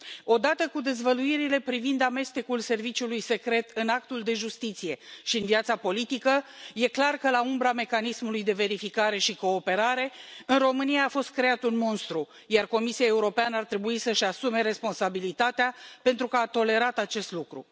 Odată cu dezvăluirile privind amestecul serviciului secret în actul de justiție și în viața politică e clar că la umbra mecanismului de verificare și cooperare în România a fost creat un monstru, iar Comisia Europeană ar trebui să își asume responsabilitatea pentru că a tolerat acest lucru.